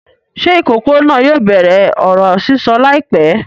Ṣé ìkókó náà yóò bẹ̀rẹ̀ ọ̀rọ̀ sísọ láìpẹ́?